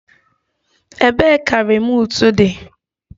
Ebee ka remootu di?